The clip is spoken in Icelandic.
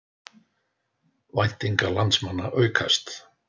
Væntingar landsmanna aukast